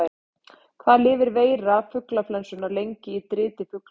Hvað lifir veira fuglaflensunnar lengi í driti fugla?